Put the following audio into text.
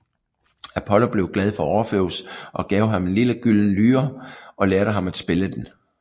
Apollo blev glad for Orfeus og gav ham en lille gylden lyre og lærte ham at spille den